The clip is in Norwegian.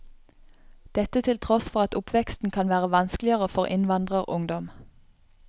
Dette til tross for at oppveksten kan være vanskeligere for innvandrerungdom.